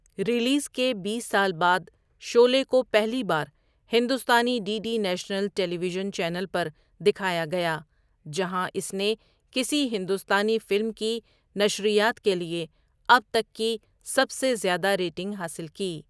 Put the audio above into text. Release کے بیس سال بعد شعلے کو پہلی بار ہندوستانی D D national television channel پر دکھایا گیا، جہاں اس نے کسی ہندوستانی فلم کی نشریات کے لیے اب تک کی سب سے زیادہ ریٹنگ حاصل کی۔